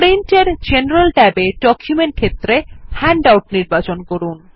print এর general ট্যাবে document ক্ষেত্রে হ্যান্ডআউট নির্বাচন করুন